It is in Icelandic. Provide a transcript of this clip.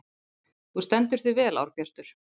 Þú stendur þig vel, Árbjartur!